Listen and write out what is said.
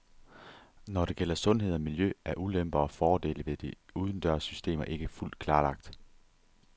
Når det gælder sundhed og miljø er ulemper og fordele ved de udendørs systemer ikke fuldt klarlagt.